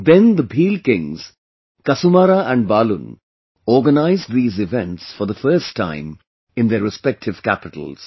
Then the Bhil kings, Kasumara and Balun organized these events for the first time in their respective capitals